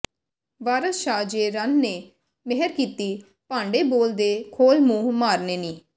ਵਾਰਸ ਸ਼ਾਹ ਜੇ ਰੰਨ ਨੇ ਮਿਹਰ ਕੀਤੀ ਭਾਂਡੇ ਬੋਲ ਦੇ ਖੋਲ ਮੂੰਹ ਮਾਰਨੇ ਨੀ